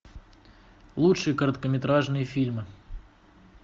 лучшие короткометражные фильмы